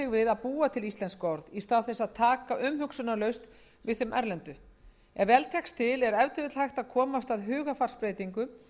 við að búa til íslensk orð í stað þess að taka umhugsunarlaust við þeim erlendu ef vel tekst til er ef til vill hægt að koma af stað hugarfarsbreytingu